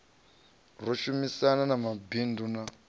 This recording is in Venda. ro shumisana na mabindu na